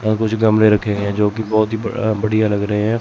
और कुछ गमले रखे हैं जोकि बहोत ही बढ़िया लग रहे है।